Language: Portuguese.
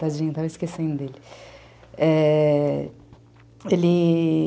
Tadinho, estava esquecendo dele, é... ele...